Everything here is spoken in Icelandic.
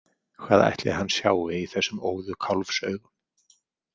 Hvað ætli hann sjái í þessum óðu kálfsaugum?